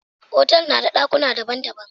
Otal na da dakuna daban-daban.